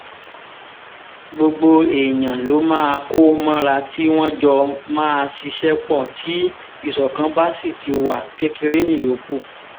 gbogbo èèyàn ló máa kó mọ́ra tí wọ́n jọ máa ṣiṣẹ́ pọ̀ tí ìṣọ̀kan bá sì ti wá kékeré níyókù